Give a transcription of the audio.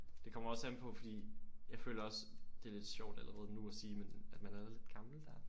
Det kommer også an på fordi jeg føler også det er også det lidt sjovt allerede nu at sige men at man er da lidt gammel der?